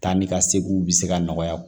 Taa ni ka seginw bɛ se ka nɔgɔya